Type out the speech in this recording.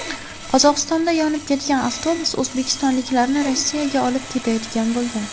Qozog‘istonda yonib ketgan avtobus o‘zbekistonliklarni Rossiyaga olib ketayotgan bo‘lgan.